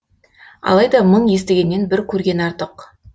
алайда мың естігеннен бір көрген артық